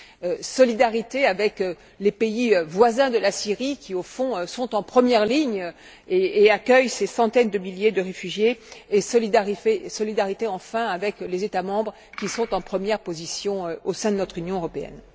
Ensuite, une solidarité avec les pays voisins de la Syrie qui, au fond, sont en première ligne et accueillent ces centaines de milliers de réfugiés et, enfin, une solidarité avec les États membres, qui sont en première position au sein de notre Union européenne.